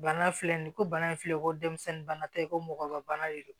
Bana filɛ nin ko bana in filɛ ko dɛmisɛnnin bana tɛ ko mɔgɔ ka bana de don